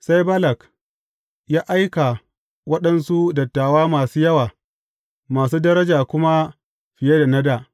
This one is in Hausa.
Sai Balak ya aika waɗansu dattawa masu yawa, masu daraja kuma fiye da na dā.